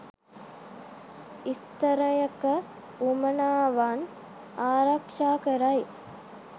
ස්ථරයක උවමනාවන් ආරක්ෂා කරයි.